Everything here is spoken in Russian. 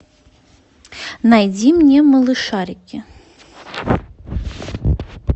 найди мне малышарики